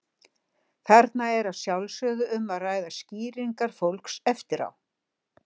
Þarna er að sjálfsögðu um að ræða skýringar fólks eftir á.